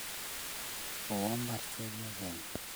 Kowo mbar chepyosenyu